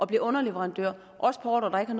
bliver underleverandør på ordrer der ikke